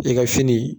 I ka fini